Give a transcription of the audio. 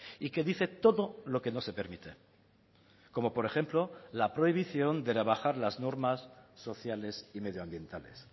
y que dice todo lo que no se permite como por ejemplo la prohibición de rebajar las normas sociales y medioambientales